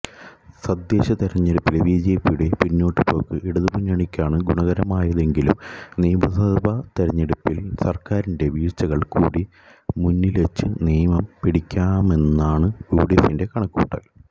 തദ്ദേശതെരഞ്ഞെടുപ്പിലെ ബിജെപിയുടെ പിന്നോട്ടുപോക്ക് ഇടതുമുന്നണിക്കാണ് ഗുണകരമായതെങ്കിലും നിയമസഭ തെരഞ്ഞെടുപ്പില് സര്ക്കാരിന്റെ വീഴ്ചകള് കൂടി മുന്നില്വെച്ച് നേമം പിടിക്കാമെന്നാണ് യുഡിഎഫിന്റെ കണക്കുകൂട്ടല്